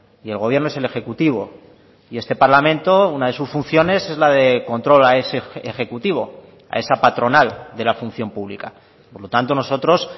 y el gobierno es el ejecutivo y este parlamento una de sus funciones es la de control a ese ejecutivo a esa patronal de la función pública por lo tanto nosotros